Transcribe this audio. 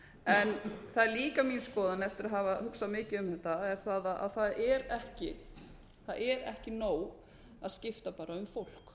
en það er líka mín skoðun eftir að hafa hugsað mikið um þetta að það er ekki nóg að skipta bara um fólk